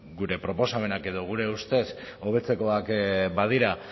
gure proposamenak edo gure ustez hobetzekoak badira